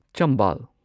Chambal